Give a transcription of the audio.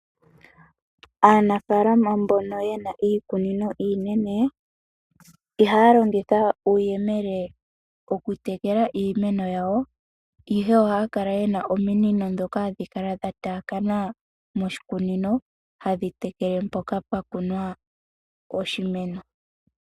Aanafalama mbono yena iikunino iinene, ihaya longitha uuyemele okutekela iimeno yawo, ihe ohaya kala yena ominino ndhoka hadhi kala dhataakana moshikunino, hadhi tekele mpoka pwa kunwa oshimeno.